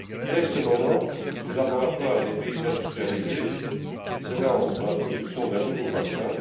Dès ce moment, les laboratoires des pays industrialisés se lancent dans la production d'un nouveau vaccin.